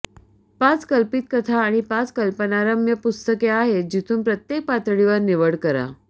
पाच कल्पित कथा आणि पाच कल्पनारम्य पुस्तके आहेत जिथून प्रत्येक पातळीवर निवड करा